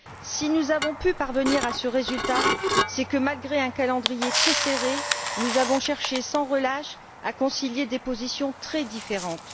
Si nous avons pu parvenir à ce résultat, c'est que, malgré un calendrier très serré, nous avons cherché sans relâche à concilier des positions très différentes.